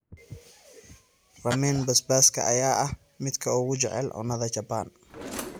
Ramen basbaaska ayaa ah midka ugu jecel cunnada Japan.